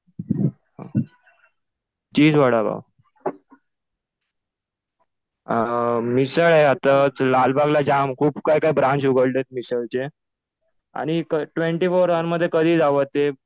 चीज वडा पाव. मिसळ आहे आता. लालबागला जाम खूप काही काही ब्रांच उघडले मिसळचे. आणि ट्वेन्टी फोर अवरमध्ये कधीही जावं ते